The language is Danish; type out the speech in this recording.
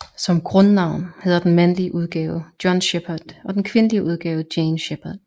Som grundnavn hedder den mandlige udgave John Shepard og den kvindelige udgave Jane Shepard